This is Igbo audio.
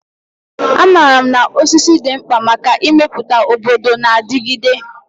Amaara m na osisi dị mkpa maka ịmepụta obodo na-adigide.